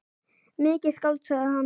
Mikið skáld, sagði hann.